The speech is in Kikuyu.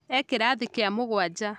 E kĩrathi kĩa mũgwanja